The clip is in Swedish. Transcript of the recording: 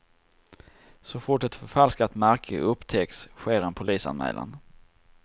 Så fort ett förfalskat märke upptäcks sker en polisanmälan.